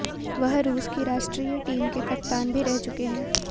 वह रूस की राष्ट्रीय टीम के कप्तान भी रह चुके हैं